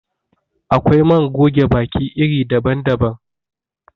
Akwai man goge baki iri daban daban.